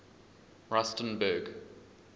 rustenburg